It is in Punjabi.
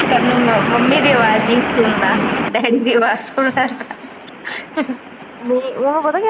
ਤੈਨੂੰ ਮੰਮੀ ਦਾ ਅਵਾਜ਼ ਨਹੀਂ ਸੁਣਦਾ ਡੈਡੀ ਦੀ ਅਵਾਜ਼ ਸੁਣਿਆ